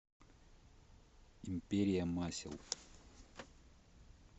империя масел